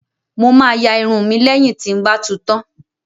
Mo máa ya irun mi lẹ́yìn tí ń ba tu tán